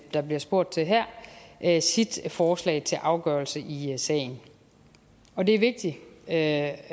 der bliver spurgt til her her sit forslag til afgørelse i sagen og det er vigtigt at